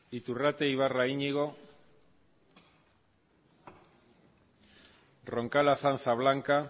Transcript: iturrate ibarra iñigo roncal azanza blanca